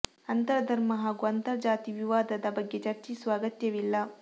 ಅಂತರ್ ಧರ್ಮ ಹಾಗೂ ಅಂತರ್ ಜಾತಿ ವಿವಾದದ ಬಗ್ಗೆ ಚರ್ಚಿಸುವ ಅಗತ್ಯವಿಲ್ಲ